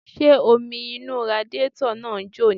Ṣé omi inú radiátọ̀ náà ń jò ni?